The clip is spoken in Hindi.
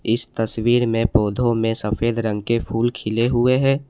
इस तस्वीर में पौधों में सफेद रंग के फूल खिले हुए हैं।